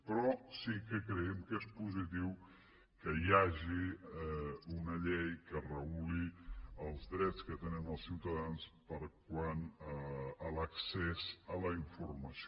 però sí que creiem que és positiu que hi hagi una llei que reguli els drets que tenen els ciutadans quant a l’accés a la informació